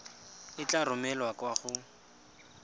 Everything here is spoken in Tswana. e tla romelwa kwa go